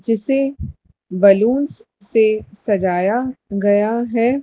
जिसे बलूंस से सजाया गया है।